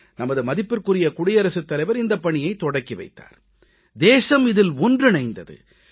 நமது மதிப்பிற்குரிய குடியரசுத் தலைவர் இந்தப் பணியைத் தொடங்கி வைத்தார் தேசம் இதில் ஒன்றிணைந்தது